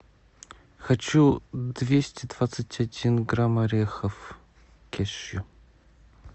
хочу двести двадцать один грамм орехов кешью